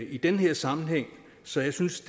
i den her sammenhæng så jeg synes